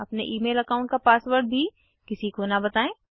अपने email account का password भी किसी को न बताएं